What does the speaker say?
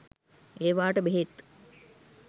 ඒවාට බෙහෙත්